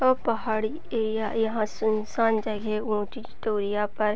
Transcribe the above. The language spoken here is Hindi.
वह पहाड़ी ये या यहाँ सुनसान जगह पर --